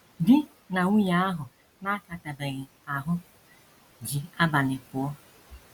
DI NA nwunye ahụ na - akatabeghị ahụ́ ji abalị pụọ.